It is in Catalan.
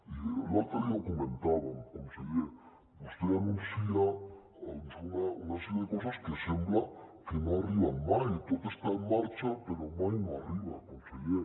i l’altre dia ho comentàvem conseller vostè anuncia una sèrie de coses que sembla que no arriben mai tot està en marxa però mai no arriba conseller